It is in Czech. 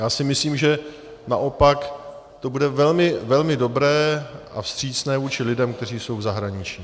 Já si myslím, že naopak to bude velmi dobré a vstřícné vůči lidem, kteří jsou v zahraničí.